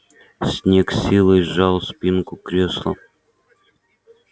снегг с силой сжал спинку кресла